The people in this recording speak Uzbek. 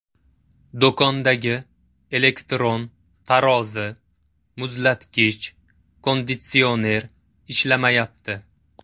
Do‘kondagi elektron tarozi, muzlatgich, konditsioner ishlamayapti.